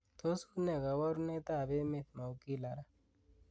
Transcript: tos unee koborunet ab emet maugila raa